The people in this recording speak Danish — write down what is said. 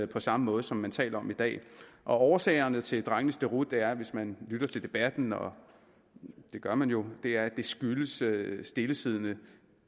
på samme måde som man taler om i dag årsagerne til drengenes deroute hører man hvis man lytter til debatten og det gør man jo skyldes stillesiddende